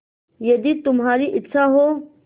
यदि तुम्हारी इच्छा हो